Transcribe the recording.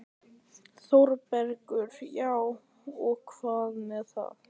ÞÓRBERGUR: Já, og hvað með það?